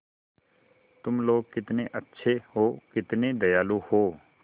तुम लोग कितने अच्छे हो कितने दयालु हो